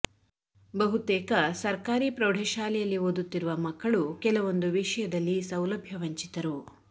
ಬಹುತೇಕ ಸರ್ಕಾರಿ ಪ್ರೌಢಶಾಲೆಯಲ್ಲಿ ಓದುತ್ತಿರುವ ಮಕ್ಕಳು ಕೆಲವೊಂದು ವಿಷಯದಲ್ಲಿ ಸೌಲಭ್ಯ ವಂಚಿತರು